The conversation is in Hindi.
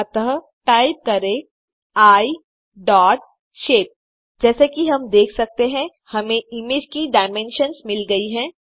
अतः टाइप करें आई डॉट शेप जैसा कि हम देख सकते हैं हमें इमेज की डायमेन्शन्स मिल गयी है